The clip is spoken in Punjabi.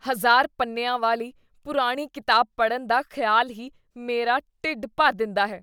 ਹਜ਼ਾਰ ਪੰਨਿਆਂ ਵਾਲੀ ਪੁਰਾਣੀ ਕਿਤਾਬ ਪੜ੍ਹਨ ਦਾ ਖਿਆਲ ਹੀ ਮੇਰਾ ਢਿੱਡ ਭਰ ਦਿੰਦਾ ਹੈ